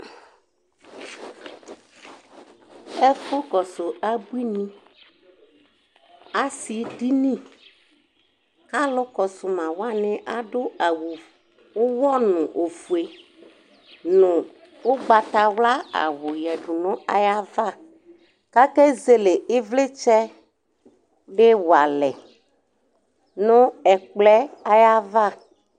Ɛfʋ kɔsʋ abuini asidini kʋ alʋkɔsʋmawani adʋ awʋ ʋwɔnʋ ofue nʋ ʋgbatawla awʋ yadʋ nʋ ayʋ ava kʋ akezele ivlitsɛdi wa ɛlɛ nʋ ayʋ ava